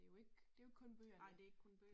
Det jo ikke det jo ikke kun bøgerne